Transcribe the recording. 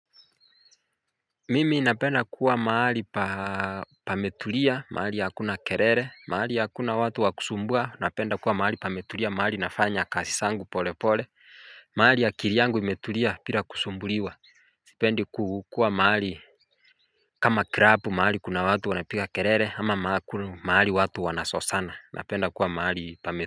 Mimi napenda kuwa mahali pametulia, mahali ya hakuna kelele, mahali ya hakuna watu wakusumbua, napenda kuwa mahali pametulia, mahali nafanya kazi zangu pole pole, mahali ya akili yangu imetulia bila kusumbuliwa, nipende kukua mahali kama krapu mahali kuna watu wanapika kerere ama mahali watu wanasosana, napenda kuwa mahali pametulia.